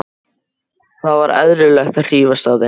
Það var eðlilegt að hrífast af þeim.